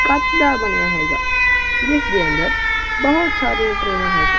ਕੱਚ ਦਾ ਬਣਿਆ ਹੈਗਾ ਜਿਸ ਦੇ ਅੰਦਰ ਬਹੁਤ ਸਾਰੀਆਂ ਟਰੇਵਾ ਹੈਗੀਆਂ।